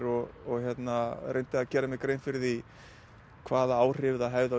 og reyndi að gera mér grein fyrir því hvaða áhrif það hefði á